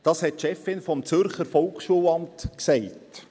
Das sagte die Chefin des Zürcher Volksschulamts.